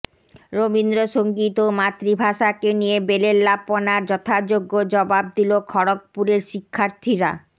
রবীন্দ্রসঙ্গীত ও মাতৃভাষাকে নিয়ে বেলেল্লাপনার যথাযোগ্য জবাব দিলো খড়গপুরের শিক্ষার্থীরা